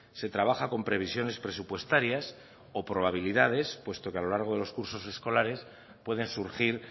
se trabaja con previsiones presupuestarias o probabilidades puesto que a lo largo de los cursos escolares pueden surgir